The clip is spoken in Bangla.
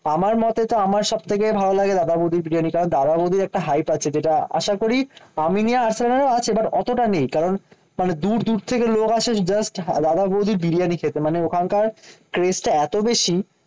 আমার মতে তো আমার সব থেকে ভালো লাগে দাদা বৌদির বিরিয়ানি। কারণ দাদা বৌদির একটা হাইপ আছে যেটা আশা করি আমিনিয়া আর্সেনালে আছে বাট অতটা নেই। কারণ মানে দূর দূর থেকে লোক আসে জাস্ট দাদা বৌদির বিরিয়ানি খেতে। মানে ওখানকার টেস্টটা এতো বেশি